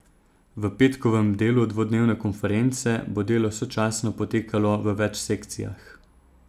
V petkovem delu dvodnevne konference bo delo sočasno potekalo v več sekcijah.